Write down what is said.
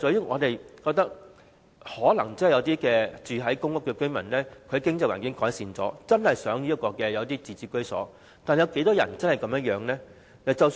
我們覺得，可能有一些公屋居民在改善了經濟環境後，便想擁有自置居所，但真的有多少人是這樣想呢？